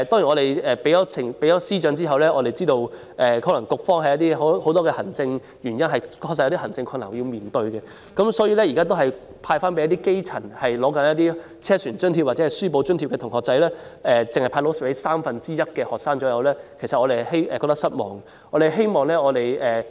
我們向司長提出意見後，知道局方可能基於很多行政原因和面對行政困難，所以現時只是把津貼派發給正在領取車船津貼或書簿津貼的基層同學，大約只有三分之一的學生能夠受惠，我們對此感到失望。